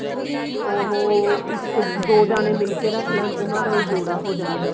ਉਹ ਇੱਕ ਦੋ ਜਾਣੇ ਮਿਲ ਕੇ ਰੱਖ ਲੈਣ ਉਹਨਾਂ ਦਾ ਵੀ ਜੋੜਾ